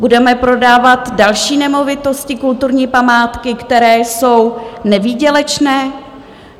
Budeme prodávat další nemovitosti, kulturní památky, které jsou nevýdělečné?